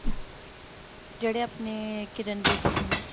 ਜਿਹੜੇ ਆਪਣੇ ਕਿਰਨ ਬੇਦੀ ਜੀ ਨੇ